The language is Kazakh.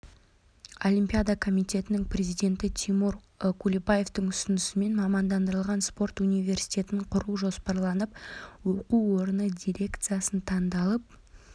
олимпида комитетінің президенті тимур құлыбаевтың ұсынысымен мамандандырылған спорт университетін құру жоспарланып оқу орны дирекциясының таңдалып